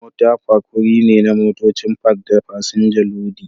Mota Park wuri ne na motocin Park da fasinja lodi